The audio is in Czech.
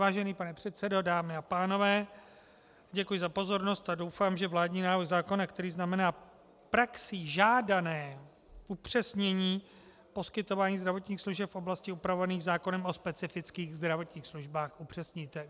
Vážený pane předsedo, dámy a pánové, děkuji za pozornost a doufám, že vládní návrh zákona, který znamená praxí žádané upřesnění poskytování zdravotních služeb v oblastechi upravovaných zákonem o specifických zdravotních službách, upřesníte.